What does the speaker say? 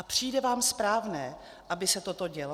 A přijde vám správné, aby se toto dělo?